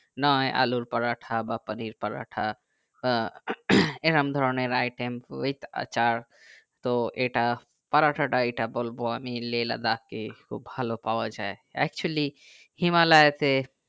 নই আলুর পরোটা বা পানির পরোটা আহ এইরকম ধরণের item with আচার তো এটা পরোটা তা বলবো আমি লে লাদাখ কে খুব ভালো পাওয়া যাই actually হিমালয়ে তে